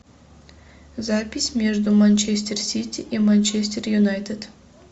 запись между манчестер сити и манчестер юнайтед